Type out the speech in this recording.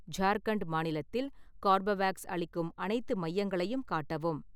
ஜார்க்கண்ட் மாநிலத்தில் கார்பவேக்ஸ் அளிக்கும் அனைத்து மையங்களையும் காட்டவும்